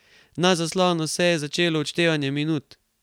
Na zaslonu se je že začelo odštevanje minut ...